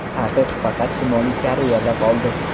Taqiq faqat Shimoliy Koreyada qoldi.